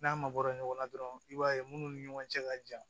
N'a mabɔra ɲɔgɔn na dɔrɔn i b'a ye munnu ni ɲɔgɔn cɛ ka jan